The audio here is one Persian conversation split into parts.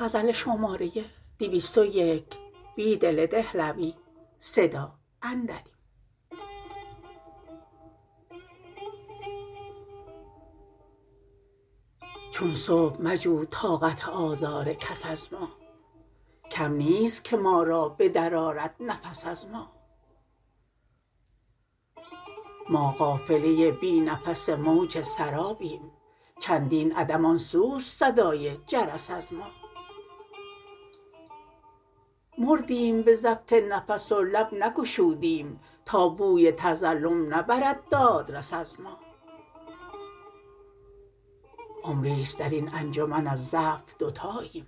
چون صبح مجو طاقت آزارکس از ما کم نیست که ما را به درآرد نفس ازما ما قافله بی نفس موج سرابیم چندین عدم آن سوست صدای جرس ازما مردیم به ضبط نفس ولب نگشودیم تا بوی تظلم نبرد دادرس از ما عمری ست دراین انجمن ازضعف دوتاییم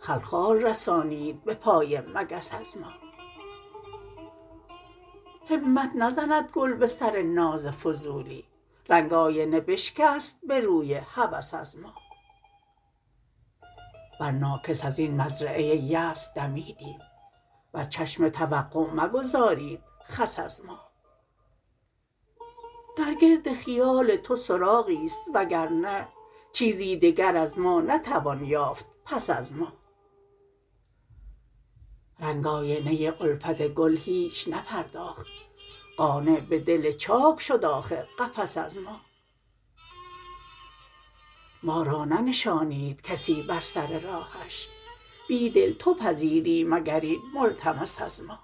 خلخال رسانید به پای مگس از ما همت نزندگل به سر ناز فضولی رنگ آینه بشکست به روی هوس ازما پر ناکس ازین مزرعه یأس دمیدیم بر چشم توقع مگذارید خس از ما درگرد خیال تو سراغی است وگرنه چیزی دگر از ما نتوان یافت پس از ما رنگ آینه الفت گل هیچ نپرداخت قانع به دل چاک شد آخر قفس از ما ما را ننشانیدکسی بر سر رهش بیدل تو پذیری مگر این ملتمس از ما